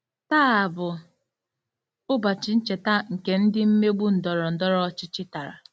Taa bụ ụbọchị ncheta nke ndị mmegbu ndọrọ ndọrọ ọchịchị tara....